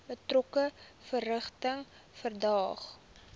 betrokke verrigtinge verdaag